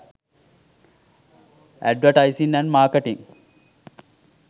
advertising and marketing